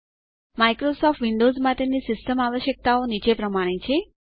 Microsoft Windows માટેની system આવશ્યકતાઓ નીચે પ્રમાણે છે